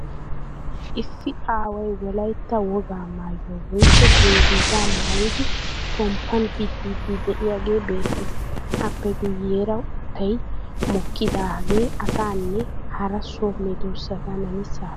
Issi aaway wolayitta wogaa maayuwa woyikko dungguzaa maayidi pomppan biddiiddi de'iyagee beettees. Appe guyyeera uuttay mokkidaage asaanne hara so medoosata namisaappe naaganawu maaddees.